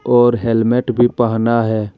और हेलमेट भी पहना है।